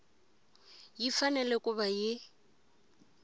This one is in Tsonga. yi fanele ku va yi